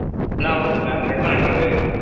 ನಾವು .